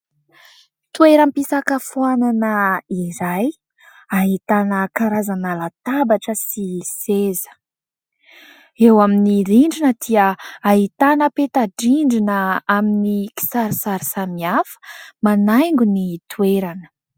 Toeram-pisakafoanana iray, ahitana karazana latabatra sy seza. Eo amin'ny rindrina dia ahitana peta-drindrina amin'ny kisarisary samihafa, manaingo ny toerana.